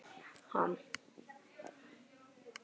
Hann er vonandi ekki með matareitrun.